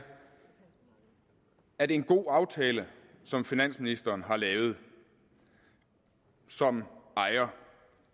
at en god aftale som finansministeren har lavet som ejer